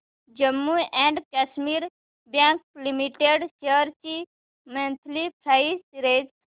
Jammu and Kashmir bank limited shares ची monthly price range